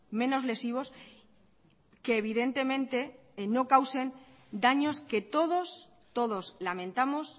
menos lesivos que evidentemente no causen daños que todos todos lamentamos